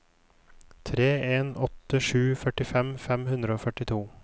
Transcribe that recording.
tre en åtte sju førtifem fem hundre og førtito